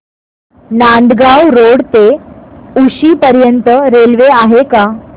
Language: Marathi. नांदगाव रोड ते उक्षी पर्यंत रेल्वे आहे का